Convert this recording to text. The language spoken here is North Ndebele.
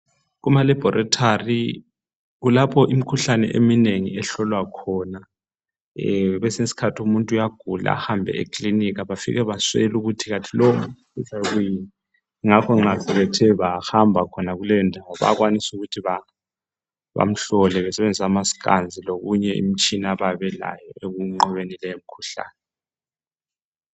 Kuma laboratory kulapho imikhuhlane eminengi ehlola khona kwesinye isikhathi umuntu uyagula ahambe eklinika bafike baswele ukuthi ubulawa kuyini ngakho ke bayakwabisa ukuthu nxa sebeke bahamba kuleyo ndawo bayakwanisa ukuthi bamhlole besebenzisa amasikanzi lominye imitshina abayabe belayo ukunqoba leyo mikhuhlane.